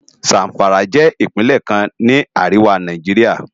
Zamfara jè Ipinlè kán ni àriwá Náijiriá